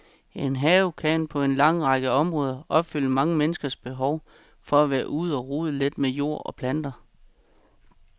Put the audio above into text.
En have kan på en lang række områder opfylde mange menneskers behov for at være ude og rode lidt med jord og planter.